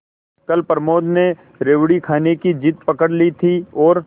कल प्रमोद ने रेवड़ी खाने की जिद पकड ली थी और